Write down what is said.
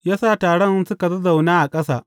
Ya sa taron su zazzauna a ƙasa.